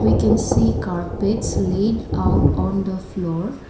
we can see carpets late out on the floor.